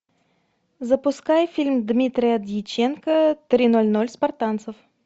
запускай фильм дмитрия дьяченко три ноль ноль спартанцев